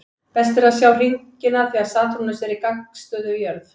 Best er að sjá hringina þegar Satúrnus er í gagnstöðu við jörð.